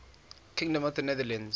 kingdom of the netherlands